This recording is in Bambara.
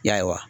Ya